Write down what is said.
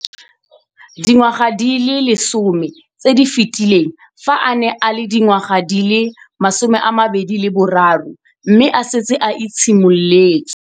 Dingwaga di le 10 tse di fetileng, fa a ne a le dingwaga di le 23 mme a setse a itshimoletse